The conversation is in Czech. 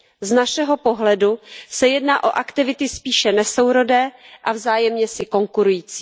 Z našeho pohledu se jedná o aktivity spíše nesourodé a vzájemně si konkurující.